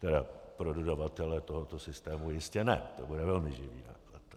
Teda pro dodavatele tohoto systému jistě ne, to bude velmi živý náklad.